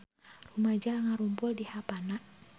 Rumaja ngarumpul di Havana